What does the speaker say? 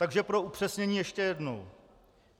Takže pro upřesnění ještě jednou.